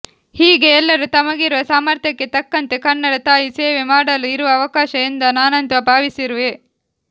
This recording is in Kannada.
ಹೀಗೆ ಎಲ್ಲರು ತಮಗಿರುವ ಸಾಮರ್ಥ್ಯಕ್ಕೆ ತಕ್ಕಂತೆ ಕನ್ನಡ ತಾಯಿ ಸೇವೆ ಮಾಡಲು ಇರುವ ಅವಕಾಶ ಎಂದು ನಾನಂತು ಭಾವಿಸಿರುವೆ